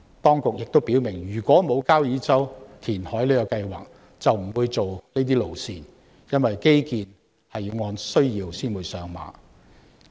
當局亦表明，沒有交椅洲填海計劃，就不會計劃這些路線，因為基建是按需要才上馬的。